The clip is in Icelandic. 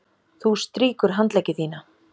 Þú strýkur handleggi þína.